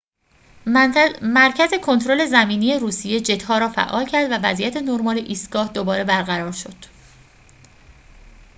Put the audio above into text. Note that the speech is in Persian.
مرکز کنترل زمینی روسیه جت‌ها را فعال کرد و وضعیت نرمال ایستگاه دوباره برقرار شد